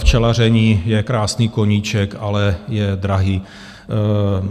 Včelaření je krásný koníček, ale je drahý.